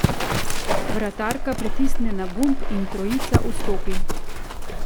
Vratarka pritisne na gumb in trojica vstopi.